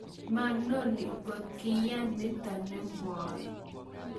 manoni ngot kiayan nito ne mwoe